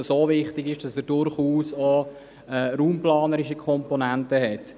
Dieser Aspekt ist so wichtig, dass er durchaus auch raumplanerische Komponenten hat.